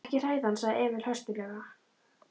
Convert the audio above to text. Ekki hræða hann, sagði Emil höstuglega.